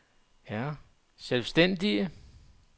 selvstændige